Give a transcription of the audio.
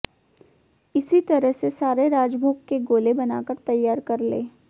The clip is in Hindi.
इसी तरह से सारे राजभोग के गोले बनाकर तैयार कर लें